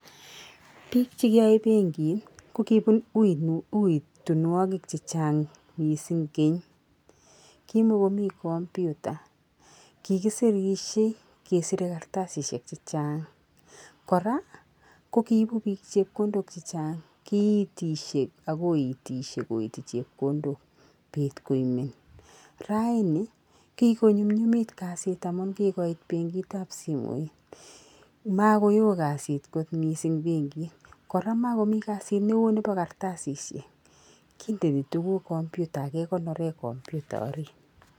BIk chekiyoe benkit kokibun eutunwokik che chang missing kenmy kimokomiii computer kikisirishe kesire kartasishek che chang koraa ko kiibu bik chekondok chechang kiitishe ak koitishe koiti chekondok bet ko imen raaini kikonyumyumit kasit amun kikoit benkit ab simoit mokoyoo kasit kot missing benkit koraa mokomii kasit neo nebo kartasishek kondeni tukuk computer ak kekonoren computer orit.